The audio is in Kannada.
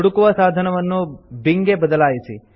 ಹುಡುಕುವ ಸಾಧಕವನ್ನು bingಗೆ ಬದಲಾಯಿಸಿ